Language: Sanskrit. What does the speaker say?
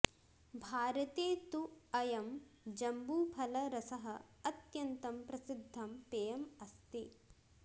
भारते तु अयं जम्बूफलरसः अत्यन्तं प्रसिद्धं पेयम् अस्ति